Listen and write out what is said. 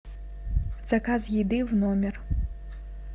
заказ еды в номер